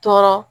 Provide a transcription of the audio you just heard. Tɔɔrɔ